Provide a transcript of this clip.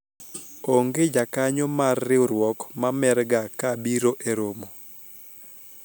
onge jakanyo mar riwruok ma mer ga ka biro e romo